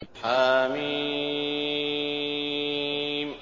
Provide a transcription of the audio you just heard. حم